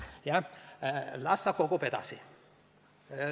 Jah, las ta kogub edasi.